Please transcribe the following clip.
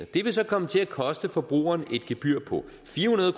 det vil så komme til at koste forbrugeren et gebyr på fire hundrede